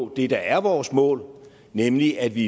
det der er vores mål nemlig at vi